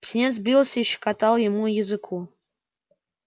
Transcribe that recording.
птенец бился и щекотал ему языку